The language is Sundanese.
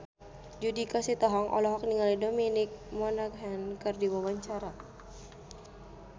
Judika Sitohang olohok ningali Dominic Monaghan keur diwawancara